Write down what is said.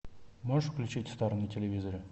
можешь включить стар на телевизоре